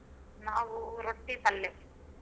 ನಾವು ರೊಟ್ಟಿ ಪಲ್ಲೆ.